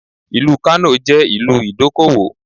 Ìlú Kano jẹ́ ìlú ìdókòwò.